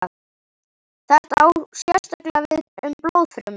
Þetta á sérstaklega við um blóðfrumur.